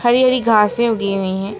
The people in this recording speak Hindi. हरी हरी घासे उगी हुई है।